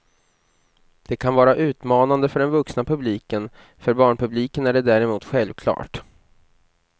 Det kan vara utmanande för den vuxna publiken, för barnpubliken är det däremot självklart.